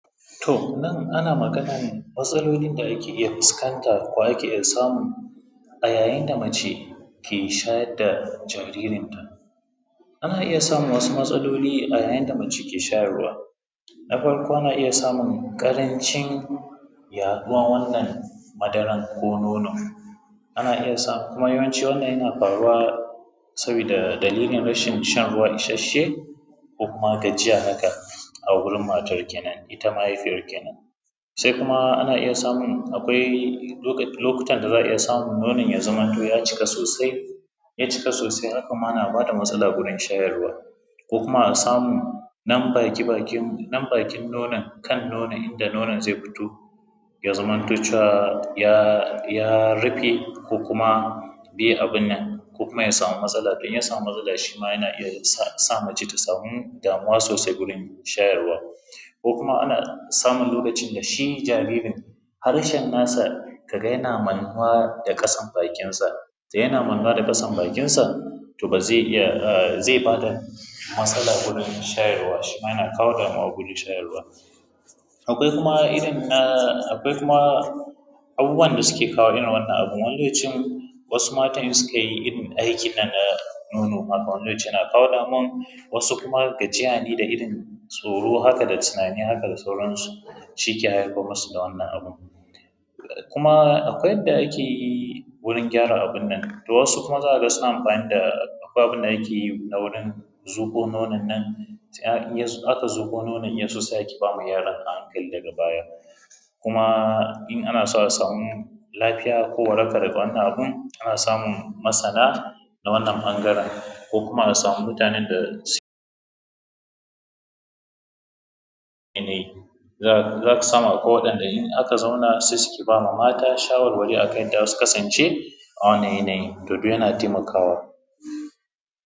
To nan ana maganan matsalolin da ana iya fuskanta ko ake samu a yayin da mace ke shayar da jaririnta. Ana iya samun wasu matsaloli ne a yayin da mace ke shayarwa, na farko ana samun ƙarancin yaɗuwar wannan madaran, ko nono, kuma yawancin wannan yana faruwa sabida dalilin rashin shan ruwa isasshe, ko kuma gajiya haka a gurin matan kenan ita mahaifiyar kenan. Sai kuma ana iya samu akwai lokuta ana iya samu na wannan ya zamto ya cika sosai, in ya cika sosai haka ma na ba da matsala wurin shayarwa, ko kuma a samu ɗan baki baki nan kan nonon inda nonon zai fito ya zamanto cewa ya rife ko kuma ya samu matsala, in ya samu matsala shi ma yana iya sa mace ta samu damuwa sosai gurin shayarwa. Ko kuma ana samun lokacin da shi jaririn harshen nasa ka ga yana mannuwa da ƙasan bakinsa idan yana mannuwa da ƙasan bakinsa, to zai ba ta matsala wurin shayarwa, shi ma yana kawo damuwa wurin shayarwa. Akwai kuma irin na abubuwan da suke kawo irin wannan abun wani y ace wasu matan in sukai aiki na nono haka, wani zai ce yana kawo damuwan, wasu kuma gajiya ne da irin tsoro haka da tunanin haka da sauransu shi ke haifar musu da wannan abu. Kuma akwai yadda ake yi wurin gyara abun nan to wasu kuma za ka ga suna amfani da bab naki na wurin zuƙo nonon nan, in aka zuƙo nonon in ya so sai a ke ba yaron a hankali daga baya. Kuma in ana so a samu lafiya ko warakan wannan abun, ana samun masana na wannan ɓangaren ko kuma a samu mutanen da za ka samu akwai waɗanda in aka zauna sai su ke ba mata shawarwari akan yanda za su kasance a wannan yanayin, to duk yana taimakawa.